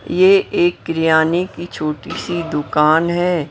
यह एक किरयाने की छोटी सी दुकान है।